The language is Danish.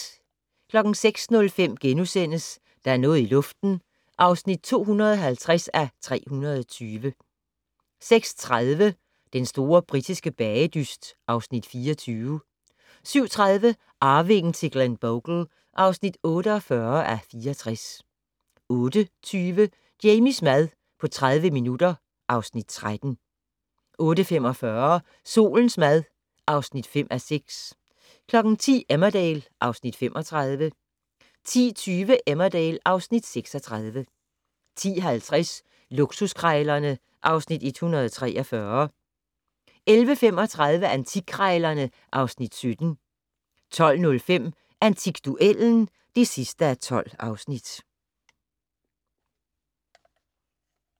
06:05: Der er noget i luften (250:320)* 06:30: Den store britiske bagedyst (Afs. 24) 07:30: Arvingen til Glenbogle (48:64) 08:20: Jamies mad på 30 minutter (Afs. 13) 08:45: Solens mad (5:6) 10:00: Emmerdale (Afs. 35) 10:20: Emmerdale (Afs. 36) 10:50: Luksuskrejlerne (Afs. 143) 11:35: Antikkrejlerne (Afs. 17) 12:05: Antikduellen (12:12)